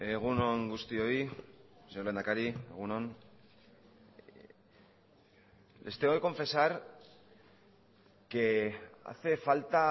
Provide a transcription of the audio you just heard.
egun on guztioi señor lehendakari egun on les tengo que confesar que hace falta